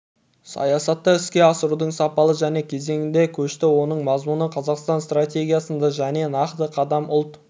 саясатты іске асырудың сапалы жаңа кезеңіне көшті оның мазмұны қазақстан стратегиясында және нақты қадам ұлт